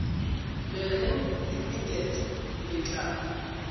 le reng limited le tla